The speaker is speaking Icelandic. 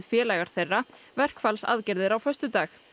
félagar þeirra verkfallsaðgerðir á föstudag